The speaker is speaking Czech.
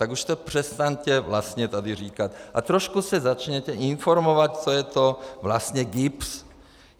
Tak už to přestaňte vlastně tady říkat a trošku se začněte informovat, co je to vlastně GIBS.